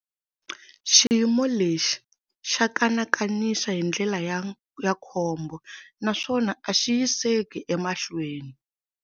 Xiyimo lexi xa kanakanisa hindlela ya khombo naswona a xi yiseki emahlweni.